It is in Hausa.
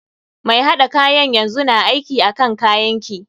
Mai haɗa kayan yanzu na aiki akan kayan ki.